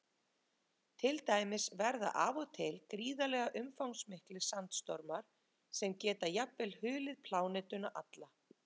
Til dæmis verða af og til gríðarlega umfangsmiklir sandstormar sem geta jafnvel hulið plánetuna alla.